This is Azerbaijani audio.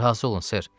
Razı olun, ser.